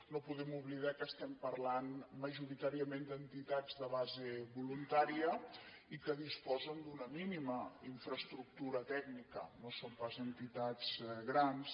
no podem oblidar que estem parlant majoritàriament d’entitats de base voluntària i que disposen d’una mínima infraestructura tècnica no són pas entitats grans